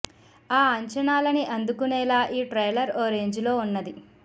ఆ అంచనాలని అందుకునేలా ఈ ట్రైలర్ ఓ రేంజ్ లో ఉన్నది